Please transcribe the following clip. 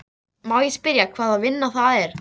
Má ég spyrja hvaða vinna það er?